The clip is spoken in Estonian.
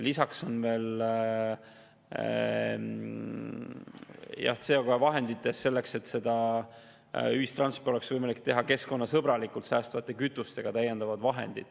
Samuti on veel CO2-vahenditest selleks, et ühistransporti oleks võimalik pakkuda keskkonnasõbralikult, säästvate kütustega.